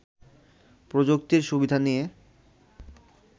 প্রযুক্তির সুবিধা নিয়ে